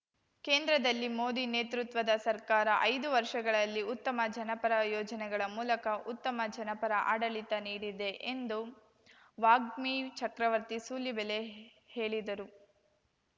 ಕೇಂದ್ರದಲ್ಲಿ ಮೋದಿ ನೇತೃತ್ವದ ಸರ್ಕಾರ ಐದು ವರ್ಷಗಳಲ್ಲಿ ಉತ್ತಮ ಜನಪರ ಯೋಜನೆಗಳ ಮೂಲಕ ಉತ್ತಮ ಜನಪರ ಆಡಳಿತ ನೀಡಿದೆ ಎಂದು ವಾಗ್ಮಿ ಚಕ್ರವರ್ತಿ ಸೂಲಿಬೆಲೆ ಹೇಳಿದರು